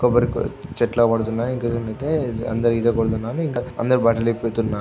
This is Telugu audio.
కొబ్బరి చెట్లు అగు పడుతున్నాయి. ఇంకా అయితే అందరు ఈత కొడుతున్నారు . ఇంకా అందరూ బట్టలు ఇప్పుతున్నారు.